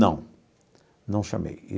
Não, não chamei.